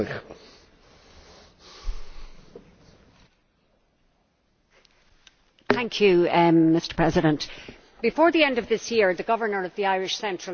Mr President, before the end of this year, the Governor of the Irish Central Bank will sell a sovereign bond worth EUR 500 million, and then he will immediately destroy that money.